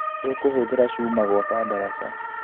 Tũkũhũthĩra cuma gwaka daraca